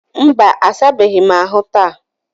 mba, a sabeghị ahụ taa.